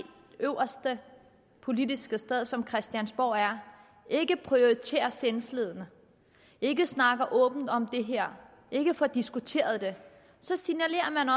øverste politiske sted som christiansborg er ikke prioriterer sindslidende ikke snakker åbent om det her ikke får diskuteret det så signalerer man